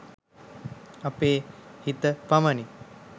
අපේ හිත පමණි